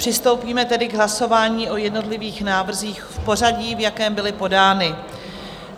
Přistoupíme tedy k hlasování o jednotlivých návrzích v pořadí, v jakém byly podány.